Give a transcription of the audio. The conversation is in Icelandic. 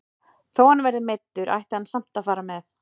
Þó hann verði meiddur ætti hann samt að fara með.